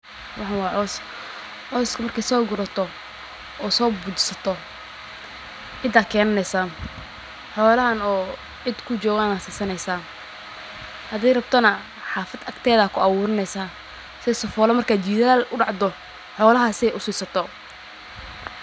waxa waa beer baxde. Beerta hasey oo laga sugayo wuxuu la cuno ta lawaad. Gariinka induhu u roon ee? Waaxkisto green in duhu ku xiyaadeen. Nafisaa ku dareemaysa.